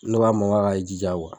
Ne ko a ma k'a ka jija kuwa